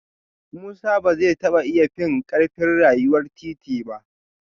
Musa ba zai taba iya fin karfin rayuwar titi ba